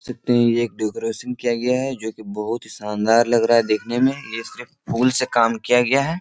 देख सकते है ये एक डेकोरेशन किया गया है जो की बोहोत ही शानदार लग रहा है देखने में ये सिर्फ फूल से काम किया गया है।